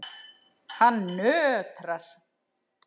Hann nötrar.